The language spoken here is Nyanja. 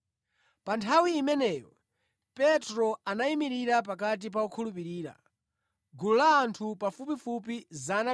Pa nthawi imeneyo Petro anayimirira pakati pa okhulupirira (gulu la anthu pafupifupi 120).